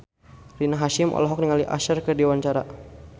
Rina Hasyim olohok ningali Usher keur diwawancara